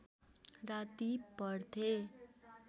राति पढ्थे